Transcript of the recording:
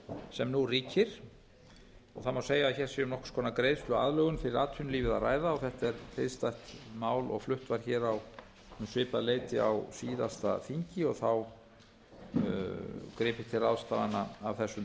sem nú ríkir í íslensku efnahagslífi það má segja að um sé að ræða nokkurs konar greiðsluaðlögun fyrir atvinnulífið og þetta er hliðstætt mál og flutt var um svipað leyti á síðasta þingi og þá gripið til ráðstafana af þessum